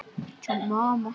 Erum við ekki ennþá félagar?